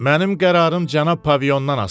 Mənim qərarım cənab pavilyondan asılıdır.